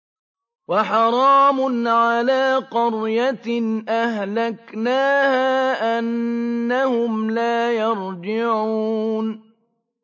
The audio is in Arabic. وَحَرَامٌ عَلَىٰ قَرْيَةٍ أَهْلَكْنَاهَا أَنَّهُمْ لَا يَرْجِعُونَ